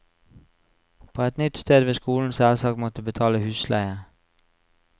På et nytt sted vil skolen selvsagt måtte betale husleie.